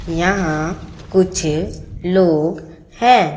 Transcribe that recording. यहां कुछ लोग हैं।